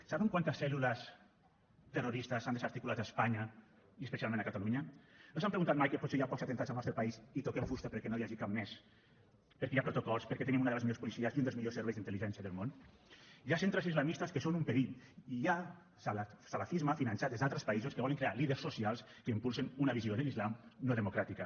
saben quantes cèl·lules terroristes s’han desarticulat a espanya i especialment a catalunya no s’han preguntat mai que potser hi ha pocs atemptats al nostre país i toquem fusta perquè no n’hi hagi cap més perquè hi ha protocols perquè tenim una de les millors policies i un dels millors serveis d’intel·ligència del món hi ha centres islamistes que són un perill i hi ha salafisme finançat des d’altres països que volen crear líders socials que impulsin una visió de l’islam no democràtica